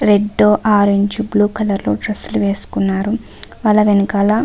Red blue orange colour లో dress లు వేసుకున్నారు వాళ్ళ వెనకాల.